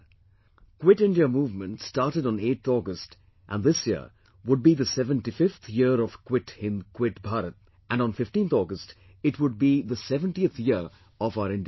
'Quit India movement' started on 8th august, and this year would be the 75th year of 'Quit Hind Quit Bharat" and on 15th august, it would be 70th year of our independence